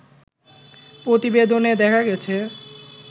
প্রতিবেদনে দেখা গেছে